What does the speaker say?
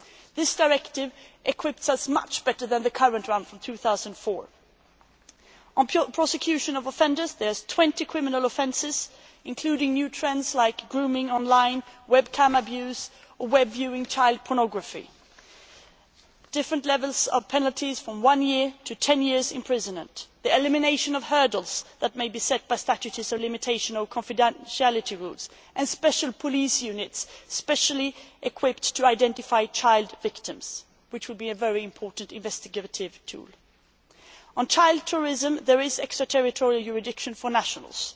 of professionals as preventive measures. This directive equips us much better than the current one from 2004. On the prosecution of offenders there are 20 criminal offences, including new trends like grooming online, webcam abuse, web viewing child pornography different levels of penalties from one year to ten years' imprisonment the elimination of hurdles that may be set by statutes of limitation or confidentiality rules and special police units specially equipped to identify child victims which will be a very important investigative tool. On child tourism, there